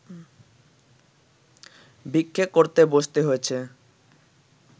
ভিক্ষে করতে বসতে হয়েছে